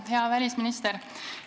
Hea välisminister!